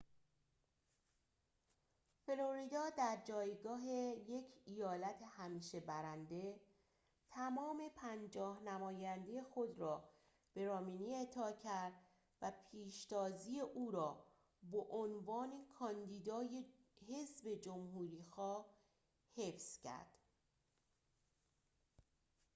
فلوریدا در جایگاه یک ایالت همیشه برنده تمام پنجاه نماینده خود را به رامنی اعطا کرد و پیشتازی او را به عنوان کاندیدای حزب جمهوری‌خواه حفظ کرد